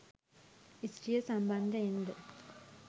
ස්ත්‍රිය සම්බන්ධයෙන් ද